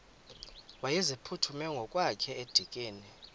wayeziphuthume ngokwakhe edikeni